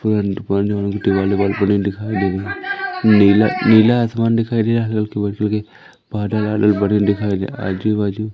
दिखाई दे रही है। नीला नीला आसमान दिखाई दे रहा है। बादल अगल बगल दिखाई दे रहा है आजु बाजु--